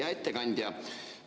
Hea ettekandja!